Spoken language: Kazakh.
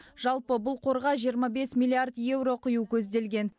жалпы бұл қорға жиырма бес миллиард еуро құю көзделген